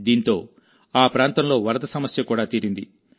దీంతో ఆ ప్రాంతంలో వరద సమస్య కూడా తీరింది